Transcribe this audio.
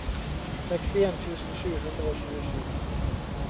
sekstien tusen sju hundre og tjuesju